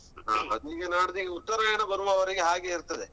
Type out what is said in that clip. ಹ ಅದೀಗ ನಾಡ್ಡ್ ಈಗ ಉತ್ತರಾಯಣ ಬರುವವರೆಗೆ ಹಾಗೆ ಇರ್ತದೆ.